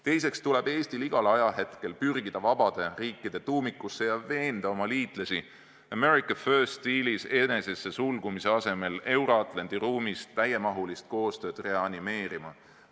Teiseks tuleb Eestil igal ajahetkel pürgida vabade riikide tuumikusse ja veenda oma liitlasi "America first" stiilis enesesse sulgumise asemel Euro-Atlandi ruumis täiemahulist koostööd reanimeerima.